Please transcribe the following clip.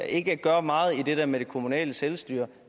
ikke gør meget i det der med det kommunale selvstyre